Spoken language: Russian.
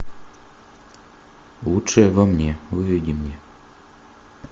лучшее во мне выведи мне